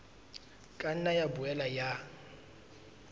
ka nna ya boela ya